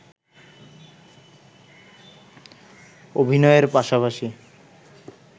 অভিনয়ের পাশাপাশি